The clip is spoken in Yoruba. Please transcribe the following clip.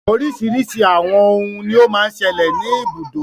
Oríṣiríṣi àwọn òhún ní o má ń ṣẹlẹ̀ ní ibùdó.